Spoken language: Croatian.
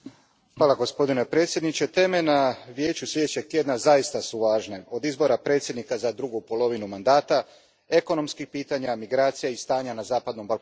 Gospodine predsjedniče, teme na Vijeću sljedećeg tjedna zaista su važne, od izbora predsjednika za drugu polovinu mandata, ekonomskih pitanja, migracija i stanja na zapadnom Balkanu.